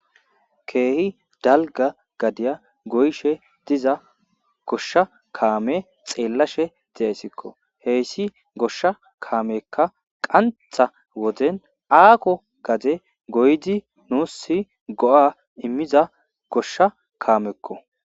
ke'hi dalgga gadiya goyshshe diza goshsha kaame xeellashe de'ayssikko heyssi goshsha kaamekka qanththa woden akko gade goydi nuusi go'a imiiza goshsha kaamekko